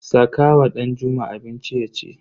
Saka wa Danjuma abinci yaci.